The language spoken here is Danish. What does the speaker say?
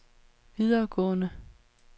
videregående